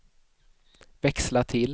växla till